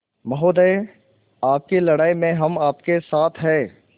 महोदय आपकी लड़ाई में हम आपके साथ हैं